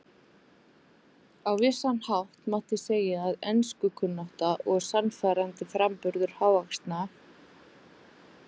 Á vissan hátt mátti segja að enskukunnátta og sannfærandi framburður hávaxna